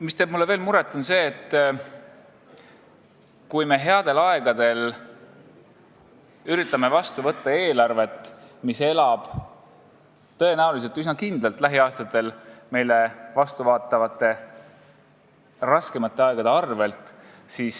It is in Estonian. Veel teeb mulle muret see, et me headel aegadel üritame vastu võtta eelarvet, mis elab üsna kindlalt lähiaastatel meile vastu vaatavate raskemate aegade arvel.